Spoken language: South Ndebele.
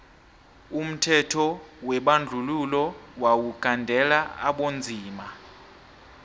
umthetho webandluhilo wawu gandelela abonzima